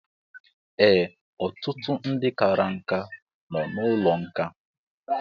Ee, ọtụtụ ndị kara nkà nọ n'ụlọ nkà